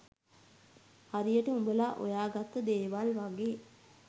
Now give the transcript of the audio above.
හරියට උඹල හොයාගත්ත දේවල් වගේ